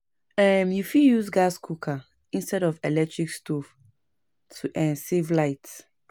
um You fit use gas cooker instead of electric stove to um save light.